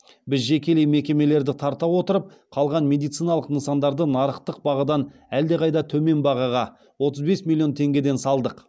біз жекелей мекемелерді тарта отырып қалған медициналық нысандарды нарықтық бағадан әлде қайда төмен бағаға отыз бес миллион теңгеден салдық